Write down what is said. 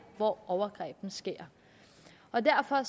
hvor overgrebene sker og derfor er